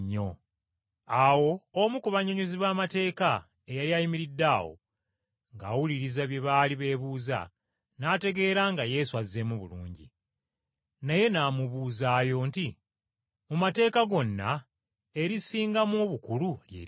Awo omu ku bannyonnyozi b’amateeka eyali ayimiridde awo ng’awuliriza bye baali beebuuza, n’ategeera nga Yesu azzeemu bulungi. Naye n’amubuuzaayo nti, “Mu mateeka gonna, erisingamu obukulu lye liruwa?”